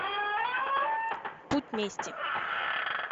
путь мести